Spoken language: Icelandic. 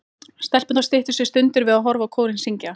Stelpurnar styttu sér stundir við að horfa á kórinn syngja.